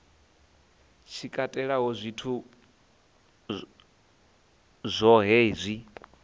tshi katelaho zwithu zwohe zwi